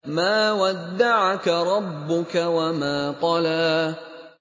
مَا وَدَّعَكَ رَبُّكَ وَمَا قَلَىٰ